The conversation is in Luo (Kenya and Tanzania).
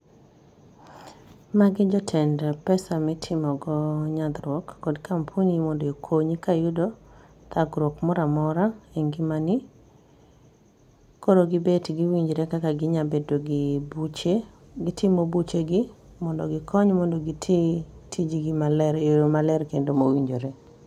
Magi jotend pesa mitimogo nyadhruok kod kampuni mondokonyi kayudo thagruok mora mora e ngimani. Koro gibet giwinjre kaka ginyabedo gi buche. Gitimo buchegi, mondo gikony mondo gitii tijgi male e o maler kendo mowinjore